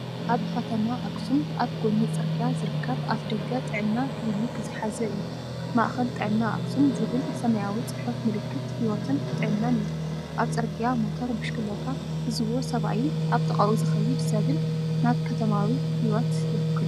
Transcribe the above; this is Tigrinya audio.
ኣብ ከተማ ኣኽሱም ኣብ ጎኒ ጽርግያ ዝርከብ ኣፍደገ ጥዕና ክሊኒክ ዝሓዘ እዩ።‘ማእከል ጥዕና ኣክሱም’ ዝብል ሰማያዊ ጽሑፍ ምልክት ህይወትን ጥዕናን እዩ። ኣብ ጽርግያ ሞተር ብሽክለታ ዝዝውር ሰብኣይን ኣብ ጥቓኡ ዝኸይድ ሰብን ናብ ከተማዊ ህይወት ይውክሉ።”